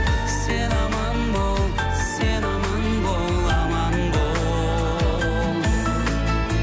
сен аман бол сен аман бол аман бол